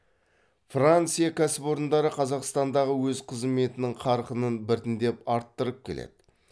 франция кәсіпорындары қазақстандағы өз қызметінің қарқынын біртіндеп арттырып келеді